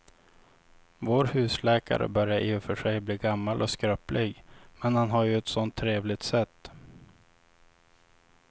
Vår husläkare börjar i och för sig bli gammal och skröplig, men han har ju ett sådant trevligt sätt!